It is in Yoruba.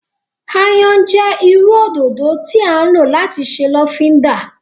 Ayan jẹ iru ododo ti a lo lati ṣe lofinda.